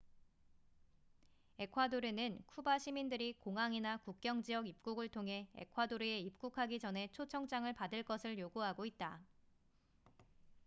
에콰도르는 쿠바 시민들이 공항이나 국경지역 입국을 통해 에콰도르에 입국하기 전에 초청장을 받을 것을 요구하고 있다